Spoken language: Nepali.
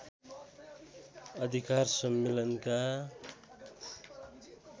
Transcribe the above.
अधिकार सम्मेलनका